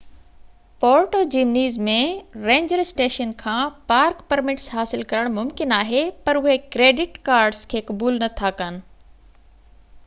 پورٽو Jimenez ۾ ranger station کان park permits حاصل ڪرڻ ممڪن آهن پر اهي ڪريڊٽ ڪارڊس کي قبول نٿا ڪن